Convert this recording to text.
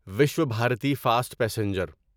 Vishwabharati fast passenger